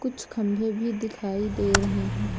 कुछ खंभे भी दिखाई दे रहे हैं।